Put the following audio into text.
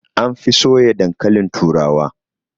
An fi soya dankalin turawa